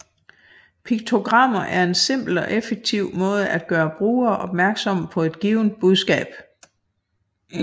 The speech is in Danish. Piktogrammer er en simpel og effektiv måde at gøre brugere opmærksomme på et givent budskab